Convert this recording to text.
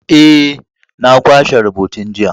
Eh, na kwashe rubutun jiya.